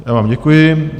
Já vám děkuji.